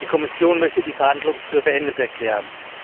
Die Kommission möchte die Verhandlungen für beendet erklären.